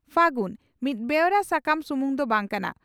'ᱯᱷᱟᱹᱜᱩᱱ' ᱢᱤᱫ ᱵᱮᱣᱨᱟ ᱥᱟᱠᱟᱢ ᱥᱩᱢᱩᱝ ᱫᱚ ᱵᱟᱝ ᱠᱟᱱᱟ